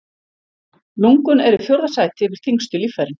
Lungun eru í fjórða sæti yfir þyngstu líffærin.